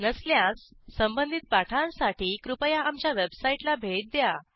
नसल्यास संबंधित पाठांसाठी कृपया आमच्या वेबसाईटला भेट द्या